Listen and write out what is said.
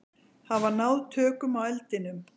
Hafa náð tökum á eldinum